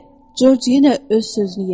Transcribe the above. Corc yenə öz sözünü yeritdi.